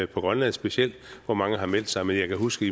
på grønland specielt hvor mange har meldt sig men jeg kan huske